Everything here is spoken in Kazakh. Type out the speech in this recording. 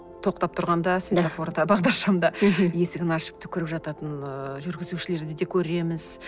тоқтап тұрғанда светофорда бағдаршамда есігін ашып түкіріп жататын ыыы жүргізушілерді де көреміз